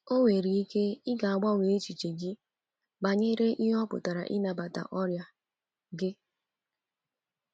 Ọ nwere ike i ga- agbanwe echiche gị banyere ihe ọ pụtara ịnabata ọrịa gị.